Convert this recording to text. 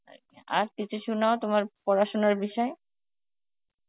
আর কিছু শুনাও তোমার পড়াশোনার বিষয়.